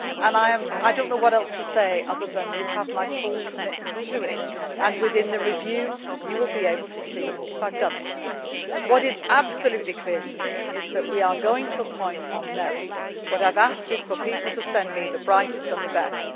I do not know what else to say, other than you have my full commitment to it and within the review, you will be able to see if I have done it. What is absolutely clear to me is that we are going to appoint on merit. I have asked people to send me the brightest and